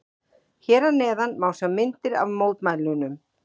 Hér að neðan má sjá myndir af mótmælunum.